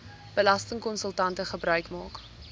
belastingkonsultante gebruik maak